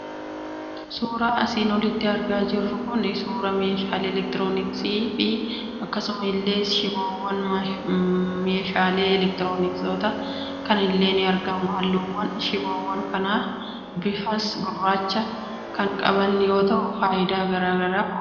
Suuraan asiin olitti argaa jirru kun, suuraa meeshaalee eleektirooniksii fi akkasuma illee shiboowwan meeshaalee eleektirooniksoota kanaa illee ni argamu. Halluuwwan shiboowwan kanas bifa gurraacha kan qaban yoo ta'u, fayidaan meeshaa eleektirooniksii kana maali?